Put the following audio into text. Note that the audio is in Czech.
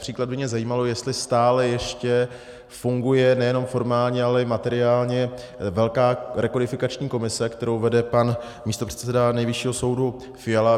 Například by mě zajímalo, jestli stále ještě funguje nejenom formálně, ale i materiálně velká rekodifikační komise, kterou vede pan místopředseda Nejvyššího soudu Fiala.